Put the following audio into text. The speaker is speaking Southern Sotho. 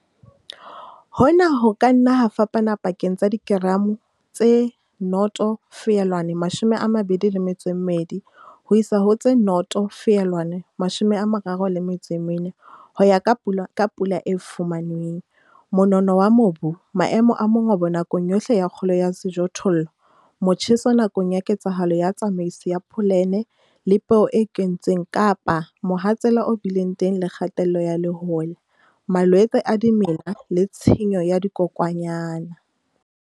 Hona ho ka nna ha fapana pakeng tsa dikeramo tse 0,22 ho isa ho tse 0,34 ho ya ka pula e fumanweng, monono wa mobu, maemo a mongobo nakong yohle ya kgolo ya sejothollo, motjheso nakong ya ketsahalo ya tsamaiso ya pholene le peo e kentsweng kapa mohatsela o bileng teng le kgatello ya lehola, malwetse a dimela le tshenyo ya dikokwanyana.